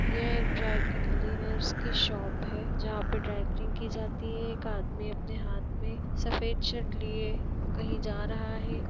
यह एक dry cleaners की शॉप है जहाँ पे ड्राई क्लीन की जाती है एक आदमी अपने हाथ में सफेद शर्ट लिए कही जा रहा है।